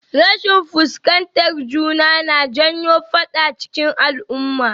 Rashin fuskantar juna na janyo faɗa cikin al'uma